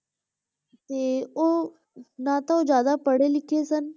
ਤੇ ਉਹ ਨਾ ਤਾਂ ਉਹ ਜ਼ਿਆਦਾ ਪੜ੍ਹੇ-ਲਿਖੇ ਸਨ,